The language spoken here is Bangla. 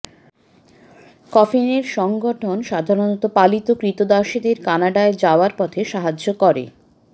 কফিনের সংগঠন সাধারণত পালিত ক্রীতদাসদের কানাডায় যাওয়ার পথে সাহায্য করে